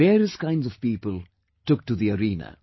Various kinds of people took to the arena